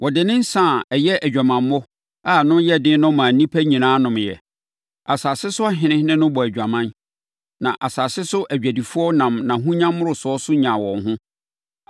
Ɔde ne nsã a ɛyɛ nʼadwamammɔ a ano yɛ den no maa nnipa nyinaa nomeeɛ. Asase so ahene ne no bɔɔ adwaman, na asase so adwadifoɔ nam nʼahonya mmorosoɔ so nyaa wɔn ho.”